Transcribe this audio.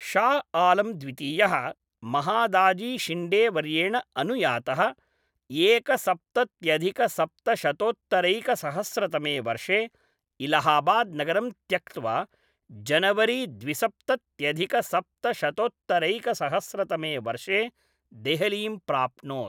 शाह आलम् द्वितीयः महादाजीशिण्डेवर्येण अनुयातः एकसप्तत्यधिकसप्तशतोत्तरैकसहस्रतमे वर्षे इलाहाबाद् नगरं त्यक्त्वा जनवरी द्विसप्तत्यधिकसप्तशतोत्तरैकसहस्रतमे वर्षे देहलीं प्राप्नोत्।